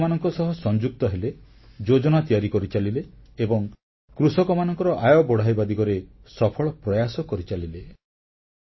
ସେ କୃଷକମାନଙ୍କ ସହ ସଂଯୁକ୍ତ ହେଲେ ଯୋଜନା ତିଆରି କରିଚାଲିଲେ ଏବଂ କୃଷକମାନଙ୍କର ଆୟ ବଢ଼ାଇବା ଦିଗରେ ସଫଳ ପ୍ରୟାସ କରିଚାଲିଲେ